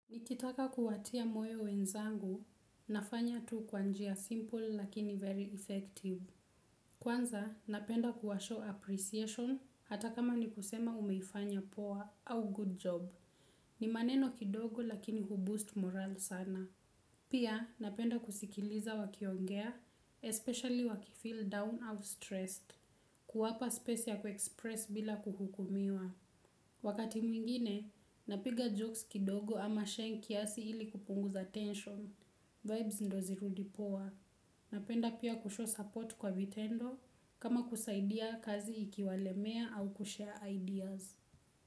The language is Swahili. Nikitaka kuwatia moyo wenzangu, nafanya tu kwa njia simple lakini very effective. Kwanza, napenda kuwa show appreciation, hata kama ni kusema umefanya poa au good job. Ni maneno kidogo lakini hu boost morale sana. Pia, napenda kusikiliza wakiongea, especially wakifeel down or stressed. Kuwapa space ya kue express bila kuhukumiwa. Wakati mwingine, napiga jokes kidogo ama sheng kiasi ili kupunguza tension. Vibes ndo zirudi poa. Napenda pia kushow support kwa vitendo kama kusaidia kazi ikiwalemea au kushare ideas.